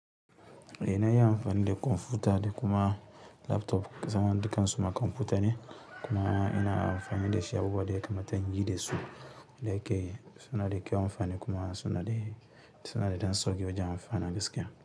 Eh iya amfani da kwamfuta da kuma laptop, zama dukan suma kwamfuta ne kuma ina amfani da shi a abubuwan da yakamata inyi da su, da yake suna da kyau amfani kuma suna da, suna da ɗan sauƙi wajen amfani gaskiya.